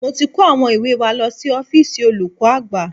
Mo ti kó àwọn ìwé wa lọ sí ọ́fíìsì olùkọ́ àgbà